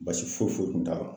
Basi foyi foyi kun t'a la